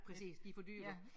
Præcis de for dyre